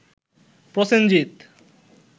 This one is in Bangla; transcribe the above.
প্রসেনজিৎ